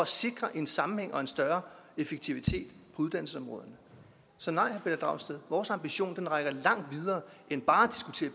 sikre en sammenhæng og en større effektivitet på uddannelsesområderne så nej herre pelle dragsted vores ambition rækker langt videre end bare